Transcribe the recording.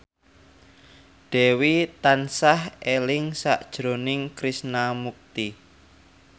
Dewi tansah eling sakjroning Krishna Mukti